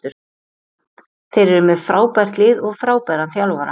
Þeir eru með frábært lið og frábæran þjálfara.